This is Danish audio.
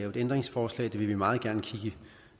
et ændringsforslag det vil vi meget gerne kigge